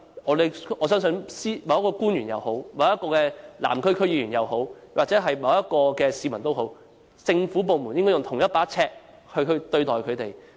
我相信不論是某位官員也好，某位南區區議員也好，甚或某位市民也好，政府部門也應用同一把尺對待他們。